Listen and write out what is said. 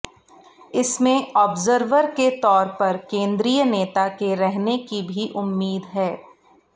इसमें ऑब्जर्वर के तौर पर केंद्रीय नेता के रहने की भी उम्मीद है